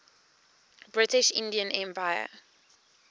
british indian empire